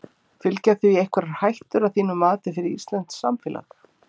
Fylgja því einhverjar hættur að þínu mati fyrir íslenskt samfélag?